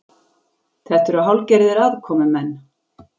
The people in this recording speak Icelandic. Þetta eru hálfgerðir aðkomumenn